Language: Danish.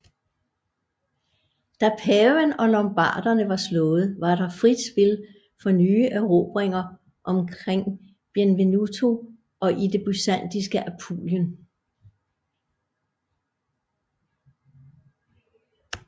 Da paven og lombarderne var slået var der frit spil for nye erobringer omkring Benevento og i det byzantinske Apulien